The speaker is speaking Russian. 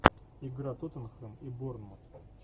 игра тоттенхэм и борнмут